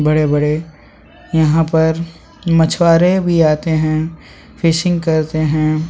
बड़े-बड़े यहाँ पर मछुआरे भी आते हैं फिशिंग करते हैं।